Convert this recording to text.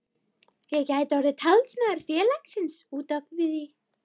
Ég gæti orðið talsmaður félagsins út á við.